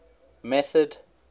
method